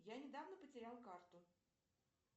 я недавно потерял карту